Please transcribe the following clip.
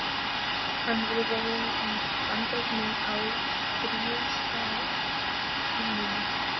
Hann hafði verið í Bandaríkjunum á stríðsárunum.